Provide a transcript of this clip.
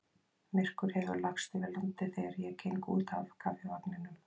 Myrkur hefur lagst yfir landið þegar ég geng út af Kaffivagninum.